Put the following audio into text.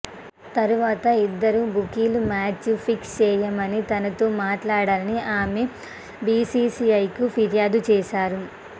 తర్వాత ఇద్దరు బుకీలు మ్యాచ్ ఫిక్స్ చేయమని తనతో మాట్లాడారని ఆమె బీసీసీఐకి ఫిర్యాదు చేశారు